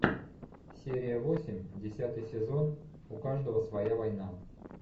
серия восемь десятый сезон у каждого своя война